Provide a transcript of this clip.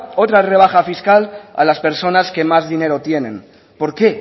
otra rebaja fiscal a las personas que más dinero tienen por qué